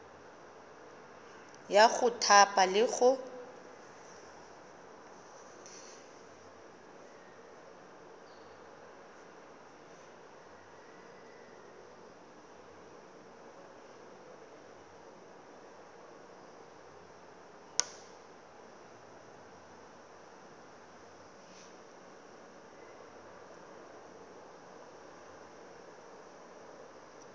ya go thapa le go